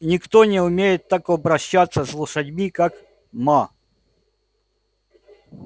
никто не умеет так обращаться с лошадьми как ма